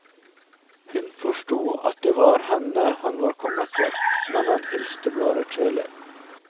Hun forsto at det var henne han var kommet for, men han hilste bare kjølig.